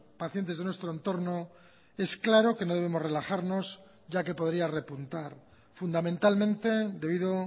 pacientes de nuestro entorno es claro que no debemos relajarnos ya que podría repuntar fundamentalmente debido